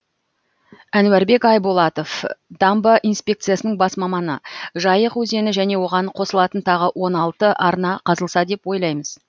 әнуарбек айболатов дамбы инспекциясының бас маманы жайық өзені және оған қосылатын тағы он алты арна қазылса деп ойлаймыз